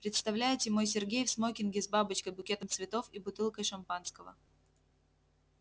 представляете мой сергей в смокинге с бабочкой букетом цветов и бутылкой шампанского